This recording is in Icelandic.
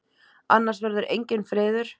Annars verður enginn friður.